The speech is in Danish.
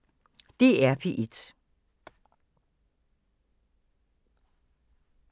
DR P1